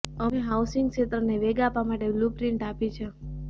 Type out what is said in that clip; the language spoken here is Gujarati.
અમે હાઉસિંગ ક્ષેત્રને વેગ આપવા માટે બ્લ્યુપ્રિન્ટ આપી છે